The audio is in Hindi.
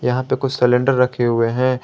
यहां पे कुछ सिलेंडर रखे हुए हैं।